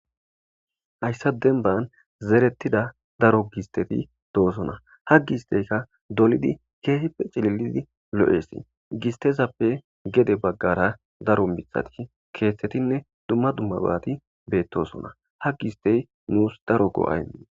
Hayissa denban zerettida daro gisteti doosona ha gi histeyka dolidi keehippe cililidi lo'esi gistesappe gede baggara daro mithati keeththetinne dumma dumma baati beettosona ha gi histey nuus daro go'a imes